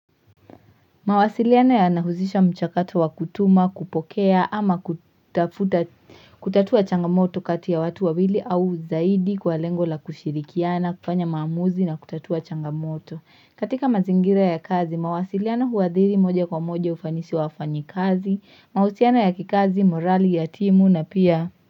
Mawasiliana yanahusisha mchakato wa kutuma, kupokea ama kutatua changamoto kati ya watu wawili au zaidi kwa lengo la kushirikiana, kufanya maamuzi na kutatua changamoto. Katika mazingira ya kazi, mawasiliano huwadhiri moja kwa moja ufanisi wa wafinyikazi, mahusiano ya kikazi, morali ya timu na pia.